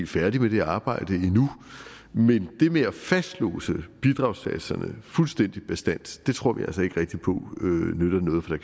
færdige med det arbejde endnu men det med at fastlåse bidragssatserne fuldstændig bastant tror vi altså ikke rigtig på nytter noget for